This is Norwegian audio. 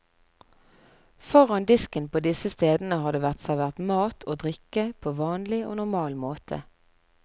Foran disken på disse stedene har det vært servert mat og drikke på vanlig og normal måte.